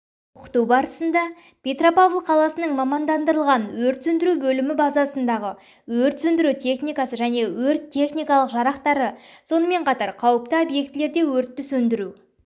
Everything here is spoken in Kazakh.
оқыту барысында петропавл қаласының мамандандырылған өрт сөндіру бөлімі базасындағы өрт сөндіру техникасы және өрт-техникалық жарақтары сонымен қатар қауіпті объектілерде өртті сөндіру